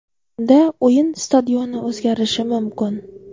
Unda o‘yin stadioni o‘zgarishi mumkin.